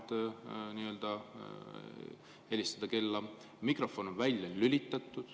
Te ka mainisite, et üks vahend on helistada kella ja mikrofon välja lülitada.